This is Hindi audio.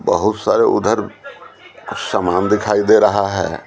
बहुत सारे उधर सामान दिखाई दे रहा है।